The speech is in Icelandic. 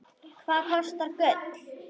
Hvað kostar gull?